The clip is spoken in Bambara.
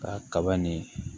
Ka kaba nin